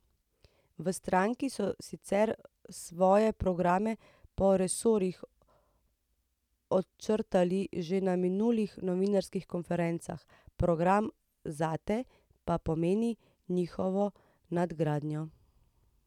V stranki so sicer svoje programe po resorjih očrtali že na minulih novinarskih konferencah, program Zate pa pomeni njihovo nadgradnjo.